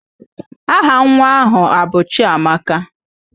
Aha nwa ahụ abụ Chiamaka?